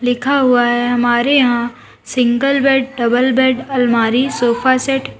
लिखा हुआ है हमारे यहां सिंगल बेड डबल बेड अलमारी सोफा सेट --